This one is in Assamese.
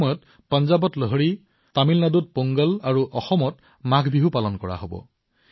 এই সময়ছোৱাত পাঞ্জাৱত লহৰী তামিলনাডুত পোংগল অসমত মাঘ বিহু পালন কৰা হব